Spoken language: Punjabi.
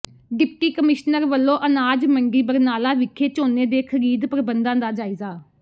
ਡਿਪਟੀ ਕਮਿਸ਼ਨਰ ਵਲੋਂ ਅਨਾਜ ਮੰਡੀ ਬਰਨਾਲਾ ਵਿਖੇ ਝੋਨੇ ਦੇ ਖ਼ਰੀਦ ਪ੍ਰਬੰਧਾਂ ਦਾ ਜਾਇਜ਼ਾ